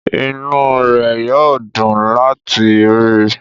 Inú rẹ̀ yóò dùn láti rí i.